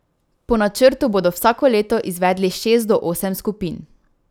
Po načrtu bodo vsako leto izvedli šest do osem skupin.